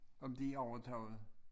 Om de overtog